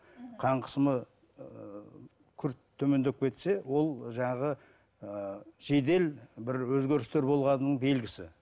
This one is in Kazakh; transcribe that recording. қан қысымы ыыы күрт төмендеп кетсе ол жаңағы ыыы жедел бір өзгерістер болғанының белгісі